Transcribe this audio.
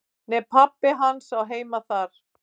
"""Nei, pabbi hans á heima þar."""